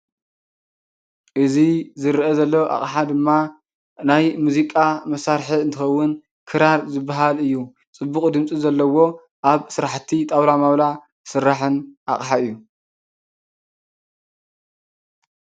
እዚ ዝረአ ዘሎ አቅሓ ድማ ናይ ሙዚቃ መሳርሒ እንትኸውን ክራር ዝብሃል እዩ። ፅቡቅ ድምፂ ዘለዎ ኣብ ስራሕቲ ጣውላ ማውላ ዝስራሕን አቕሓ እዩ።